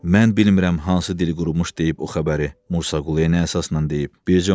Mən bilmirəm hansı dil qurmuş deyib o xəbəri, Mursa Quluya əsaslan deyib.